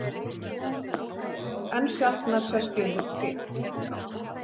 Enn sjaldnar sest ég undir tré.